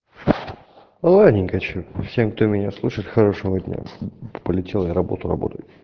ладненько что всем кто меня слушает хорошего дня полетел я работу работу